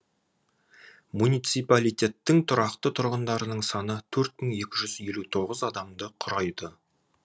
муниципалитеттің тұрақты тұрғындарының саны төрт мың екі жүз елу тоғыз адамды құрайды